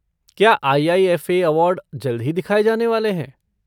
क्या IIFA. Award जल्द ही दिखाए जाने वाले हैं?